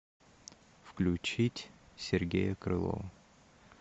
включить сергея крылова